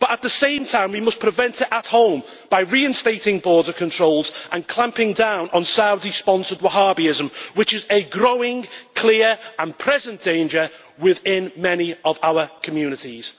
But at the same time we must take preventive action at home by reinstating border controls and clamping down on Saudi sponsored Wahhabism, which is a growing, clear and present danger within many of our communities.